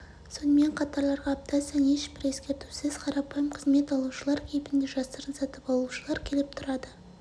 сонымен қатарларға апта сайын ешбір ескертусіз қарапайым қызмет алушылар кейпінде жасырын сатып алушылар келіп тұрады